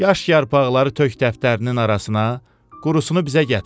Yaş yarpaqları tök dəftərinin arasına, qurusunu bizə gətir.